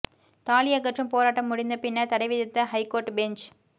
தாலி அகற்றும் போராட்டம் முடிந்த பின்னர் தடை விதித்த ஹைகோர்ட் பெஞ்ச்